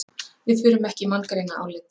Við förum ekki í manngreinarálit